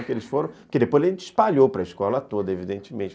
Porque eles foram, porque depois a gente espalhou para a escola toda, evidentemente.